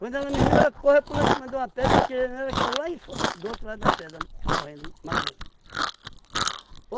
Quando ela me viu, ela correu pulou em cima de uma pedra, eu atirei nela, ela caiu lá em f do outro lado da pedra, morrendo, matei.